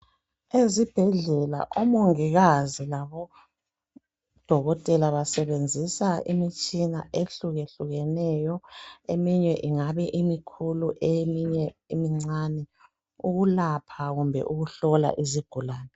Ezibhedlela odokotela labomongikazi basebenzisa imitshina ehluke hlukeneyo eminye ingabe imikhulu eminye imincani ukulapha kumbe ukuhlola izigulani